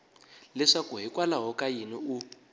leswaku hikwalaho ka yini u